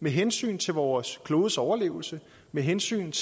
med hensynet til vores klodes overlevelse med hensynet